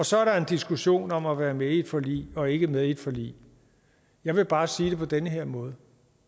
så er der en diskussion om at være med i et forlig og ikke være med i et forlig jeg vil bare sige det på den her måde